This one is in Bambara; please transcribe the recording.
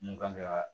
Mun kan ka